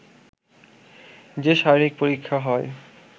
যে শারীরিক পরীক্ষা হয়